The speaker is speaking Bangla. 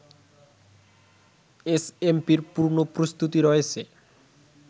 এসএমপির পূর্ণ প্রস্তুতি রয়েছে